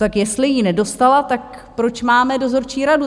Tak jestli ji nedostala, tak proč máme dozorčí radu?